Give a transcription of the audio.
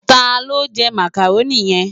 Tá ló jè Mákároni yen?